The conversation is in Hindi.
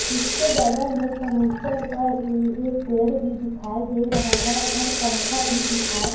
उसके बगल में फर्नीचर पर उ एक पेड़ भी दिखाई दे रहे है और पंखा भी दिखाई--